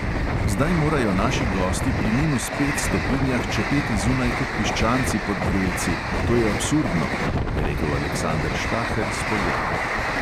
"Zdaj morajo naši gosti pri minus pet stopinjah čepeti zunaj kot piščanci pod grelci, to je absurdno," je rekel aleksander štaher s poljane.